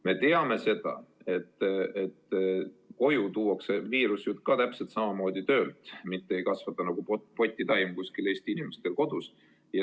Me teame seda, et koju tuuakse viirus täpselt samamoodi töölt, mitte ei kasva see nagu potitaim Eesti inimestel kodus.